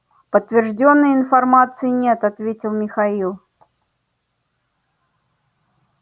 подтверждённой информации нет ответил михаил